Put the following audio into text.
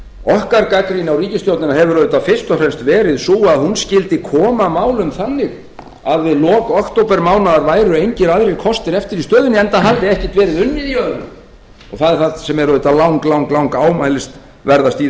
okkar gagnrýni á ríkisstjórnina hefur auðvitað fyrst og fremst verið sú að hún skyldi koma málum þannig að við lok októbermánaðar væru engir aðrir kostir eftir í stöðunni enda hafði ekkert verið unnið í öðru það er það sem er auðvitað langlangámælisverðast í þessu